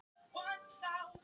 Ari fann til magnleysis.